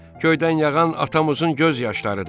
Göydən yağan atamızın göz yaşlarıdır.